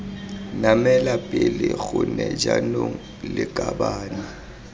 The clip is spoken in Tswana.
namela pele gone jaanong lakabane